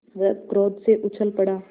वह क्रोध से उछल पड़ा